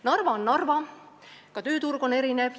Narva on Narva, ka tööturg on seal erinev.